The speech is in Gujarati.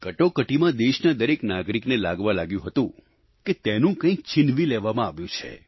કટોકટીમાં દેશના દરેક નાગરિકને લાગવા લાગ્યું હતું કે તેનું કંઈક છીનવી લેવામાં આવ્યું છે